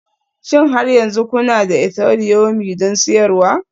Shin har yanzu kuna da Ethereumi don siyarwa?